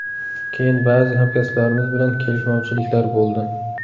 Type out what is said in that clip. Keyin ba’zi hamkasblarimiz bilan kelishmovchiliklar bo‘ldi.